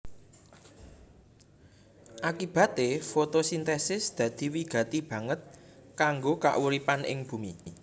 Akibaté fotosintesis dadi wigati banget kanggo kauripan ing bumi